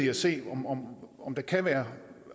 at se om om der kan være